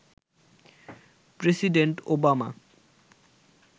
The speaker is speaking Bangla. president Obama